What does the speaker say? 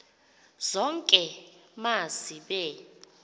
zonke ma zibe